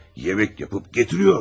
Yemək edib gətirir.